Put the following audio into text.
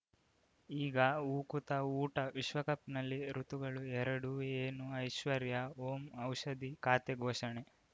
ಈಗ ಉಕುತ ಊಟ ವಿಶ್ವಕಪ್‌ನಲ್ಲಿ ಋತುಗಳು ಎರಡು ಏನು ಐಶ್ವರ್ಯಾ ಓಂ ಔಷಧಿ ಖಾತೆ ಘೋಷಣೆ